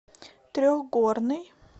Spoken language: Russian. трехгорный